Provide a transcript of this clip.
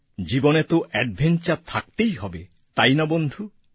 জীবনে তো অ্যাডভেঞ্চার থাকতেই হবে তাই না বন্ধু